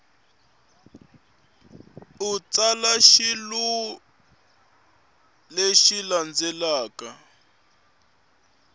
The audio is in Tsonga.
u tsala xivulwa lexi landzelaka